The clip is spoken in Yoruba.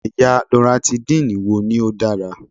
Ẹ̀yà Loratidine wo ni ó dára?